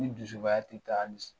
Ni dusubaya tɛ taa